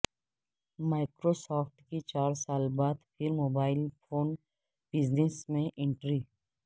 Microsoft کی چار سال بعد پھر موبائل فون بزنس میں انٹری